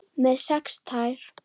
Með sex tær?